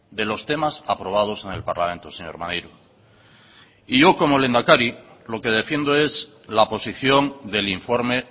de los temas aprobados en el parlamento señor maneiro y yo como lehendakari lo que defiendo es la posición del informe